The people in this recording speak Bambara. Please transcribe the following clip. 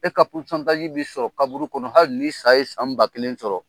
E ka bi sɔrɔ kaburu kɔnɔ . Hali ni ye san ba kelen sɔrɔ.